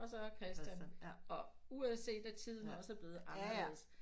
Og så Christian og uanset af tiden også er blevet anderledes